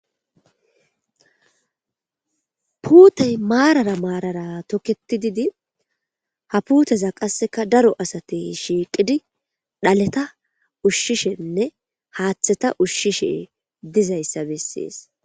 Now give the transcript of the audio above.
Puutey maarara maarara tokketididi ha puuteza qasseka daro asatey shiiqidi dhaleta ushshishenne haaththeta ushshishe dizayssa bessees.